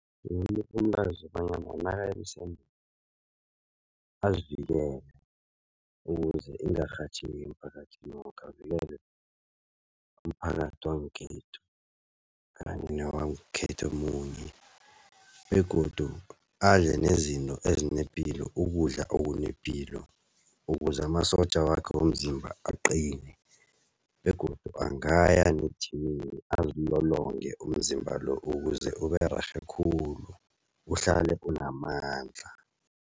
nakaya emsemeni azivikele, ukuze ingarhatjheki emphakathini woke avikele umphakathi wangekhethu kanye newangekhethu omunye begodu adle nezinto ezinepilo kudla okunepilo ukuze amasotja wakhe womzimba aqine begodu angaya nejimini azilolonge umzimba lo ukuze Ubererhe khulu, uhlale unamandla.